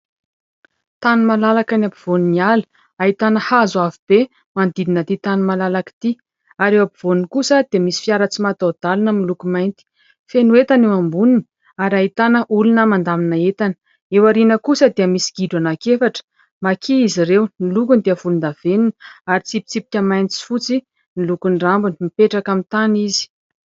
Tany malalaka any ampovoan'ny ala ahitana hazo avo be manodidina ity tany malalaka ity ary eo ampovoany kosa dia misy fiara tsy mataho-dalana iray miloko mainty. Feno entana eo amboniny ary ahitana olona mandamina entana, eo aoriana kosa dia misy gidro anankiefatra ''maki'' izy ireo. Ny lokony dia volondavenona ary tsipitsipika mainty sy fotsy ny lokon'ny rambony, mipetraka amin'ny tany izy.